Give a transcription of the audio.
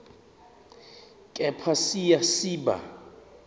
kepha siya siba